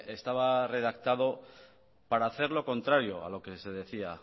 estaba redactado para hacer lo contrario a lo que se decía